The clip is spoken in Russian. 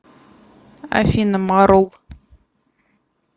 афина марул